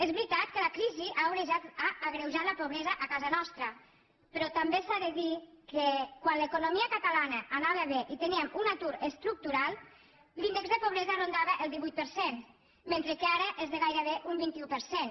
és veritat que la crisi ha agreujat la pobresa a casa nostra però també s’ha de dir que quan l’economia catalana anava bé i teníem un atur estructural l’índex de pobresa rondava el divuit per cent mentre que ara és de gairebé un vint un per cent